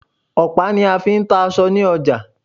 Ọ̀pá ní a fí ń ta aṣọ ní ọjà.